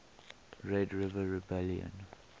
red river rebellion